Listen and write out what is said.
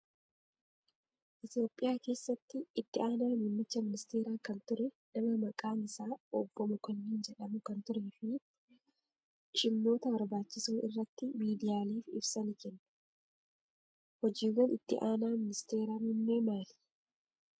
Itoophiyaa keessatti itti aanaa muummicha ministeeraa kan ture nama maqaan isaa Obbo Mokonni jedhamu kan turee fi shimmoota barbaachisoo irratti miidiyaaleef ibsa ni kennu. Hojiiwwan itti aanaa ministeera muummee maali?